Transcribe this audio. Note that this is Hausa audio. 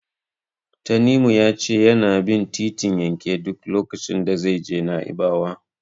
Tanimu ya ce yana bin titin yanke duk lokacin da zai je Na'ibawa.